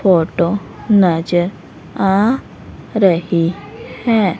Photo नजर आ रही है।